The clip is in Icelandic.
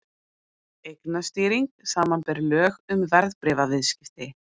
Eignastýring, samanber lög um verðbréfaviðskipti.